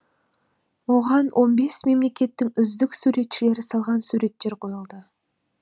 оған он бес мемлекеттің үздік суретшілері салған суреттер қойылды